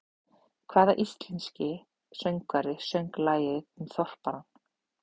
Hvaða íslenski söngvari söng lagið um Þorparann?